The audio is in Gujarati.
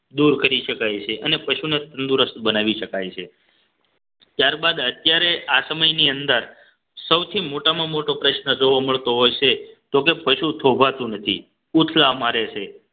દૂર કરી શકાય છે અને પશુને તંદુરસ્ત બનાવી શકાય છે ત્યારબાદ અત્યારે આ સમયની અંદર સૌથી મોટામાં મોટો પ્રશ્ન જોવા મળતો હોય છે તો કે પશુ થોભાતું નથી ઉથલા મારે છે